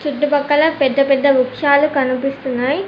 చుట్టు పక్కల పెద్ద పెద్ద వృక్షాలు కనిపిస్తున్నాయ్.